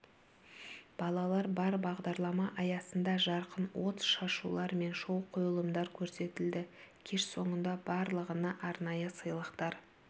балалар бар бағдарлама аясында жарқын от шашулар мен шоу-қойылымдар көрсетілді кеш соңында барлығына арнайы сыйлықтар